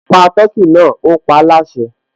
Pa tọkí náà, ó paáláṣẹ